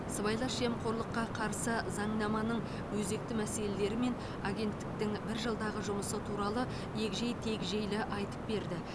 сыбайлас жемқорлыққа қарсы заңнаманың өзекті мәселелері мен агенттіктің бір жылдағы жұмысы туралы егжей тегжейлі айтып берді